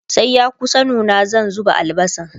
sai ya kusa nuna zan zuba albasan